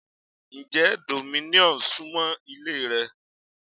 Ǹjẹ́ Domino's súmọ́ ilé rẹ?